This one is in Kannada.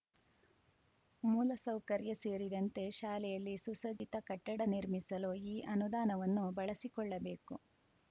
ಮೂಲ ಸೌಕರ‍್ಯ ಸೇರಿದಂತೆ ಶಾಲೆಯಲ್ಲಿ ಸುಸಜ್ಜಿತ ಕಟ್ಟಡ ನಿರ್ಮಿಸಲು ಈ ಅನುದಾನವನ್ನು ಬಳಸಿಕೊಳ್ಳಬೇಕು